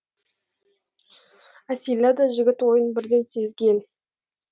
әсила да жігіт ойын бірден сезген